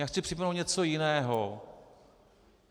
Já chci připomenout něco jiného.